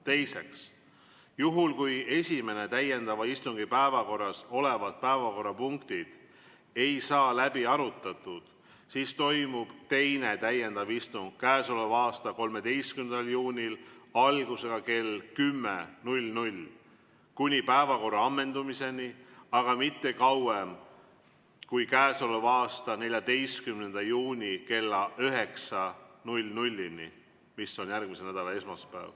Teiseks, juhul kui esimese täiendava istungi päevakorras olevad päevakorrapunktid ei saa läbi arutatud, siis toimub teine täiendav istung k.a 13. juunil algusega kell 10 kuni päevakorra ammendumiseni, aga mitte kauem kui k.a 14. juuni kella 9‑ni, mis on järgmise nädala esmaspäev.